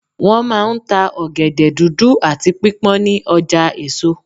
Wọ́n máa ń ta ọ̀gẹ̀dẹ̀ dúdú àti pípọ́n ní ọjà èso.